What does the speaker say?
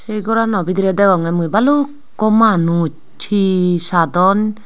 se gorano bidire degonge mui baluukko manus he sadon.